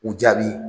U jaabi